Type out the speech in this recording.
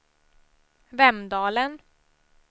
Vemdalen